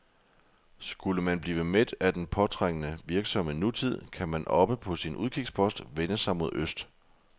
Skulle man blive mæt af den påtrængende, virksomme nutid, kan man oppe på sin udkigspost vende sig mod øst.